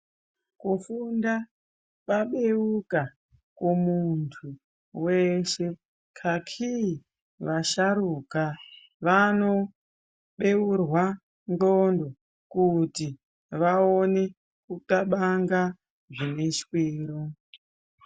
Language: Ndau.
Kufunda kwabeuka kumuntu weshe kaki washarukwa vanobeurwa ndxondo kuti vaone kukabanga zvine shwiro.